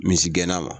Misigɛnna